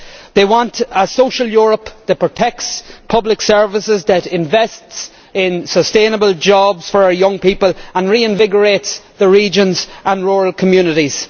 They want a social Europe that protects public services, that invests in sustainable jobs for our young people and reinvigorates the regions and rural communities.